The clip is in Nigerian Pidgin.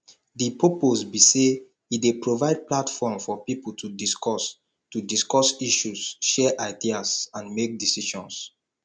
di purpose be say e dey provide platform for people to discuss to discuss issues share ideas and make decisions